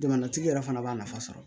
Jamanatigi yɛrɛ fana b'a nafa sɔrɔ